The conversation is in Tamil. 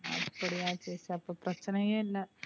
அப்படியா சரி அப்ப பிரச்சினையே இல்ல.